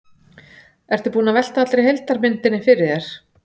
Ertu búinn að velta allri heildarmyndinni fyrir þér?